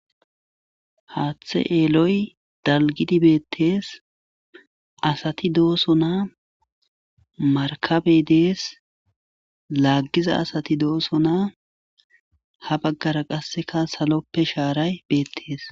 haaththe eeloy dalgidi beettees asati dooso naa markabey dees laaggiza asati dooso naa ha baggara qasseka saloppe shaaray beettees